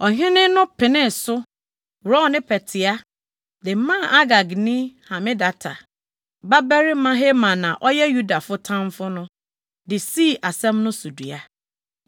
Ɔhene no penee so, worɔw ne pɛtea de maa Agagni Hamedata babarima Haman a ɔyɛ Yudafo tamfo no de sii asɛm no so dua. + 3.10 Na wɔde adehyekaa na ɛhyɛ wɔn mmara mu den.